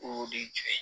O de ye jɔn ye